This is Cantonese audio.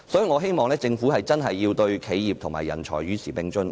我希望政府真的能促使企業和人才與時並進。